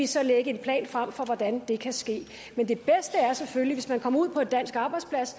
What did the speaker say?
så lægge en plan frem for hvordan det kan ske men det bedste er selvfølgelig hvis man kommer ud på en dansk arbejdsplads